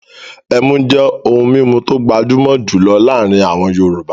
Ẹmú jẹ́ ohun mímu tó gbajúmọ̀ jùlọ láàrin àwọn yọọ̀bá